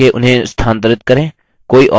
arrow keys का उपयोग करके उन्हें स्थानांतरित करें